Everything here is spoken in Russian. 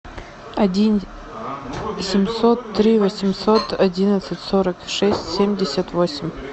один семьсот три восемьсот одинадцать сорок шесть семьдесят восемь